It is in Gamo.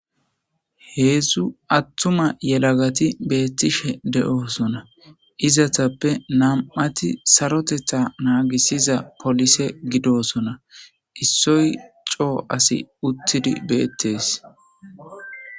Heedzdzu attuma yelagati beettishe de7osona izatappe nam7ati sarotetha naagisiza polise gidosona issoy coo asi uttidi beettes.